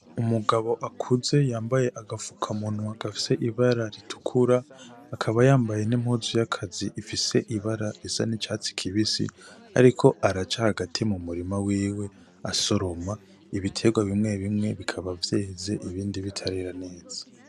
Umugabo akuze yambaye agapfuka munwa gafise ibara ritukura akaba yambaye n'impuzu yakazi ifise ibara risa n'icatsi kibisi ariko araca hagati mu murima wiwe asoroma ibiterwa bimwe bimwe bikaba vyeze ibindi bitarera neza.